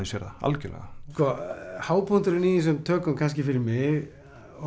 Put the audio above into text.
sér það algjörlega sko hápunkturinn í þessum tökum kannski fyrir mig